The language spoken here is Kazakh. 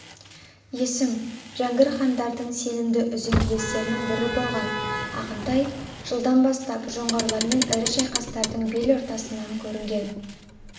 есім жәңгір хандардың сенімді үзеңгілестерінің бірі болған ағынтай жылдан бастап жоңғарлармен ірі шайқастардың бел ортасынан көрінген